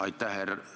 Aitäh!